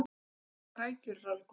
íslenskar rækjur eru alveg gómsætar